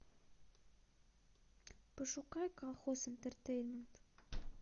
пошукай колхоз интертеймент